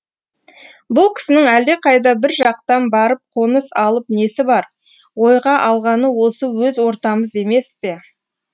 бұл кісінің әлдеқайда бір жақтан барып қоныс алып несі бар ойға алғаны осы өз ортамыз емес пе